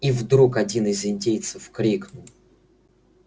и вдруг один из индейцев крикнул